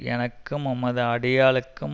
எனக்கும் உமது அடியாளுக்கும்